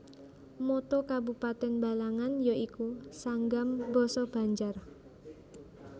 Motto Kabupatèn Balangan ya iku Sanggam basa Banjar